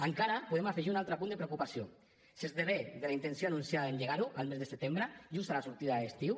encara podem afegir un altre punt de preocupació s’esdevé de la intenció anunciada d’engegar ho al mes de setembre just a la sortida de l’estiu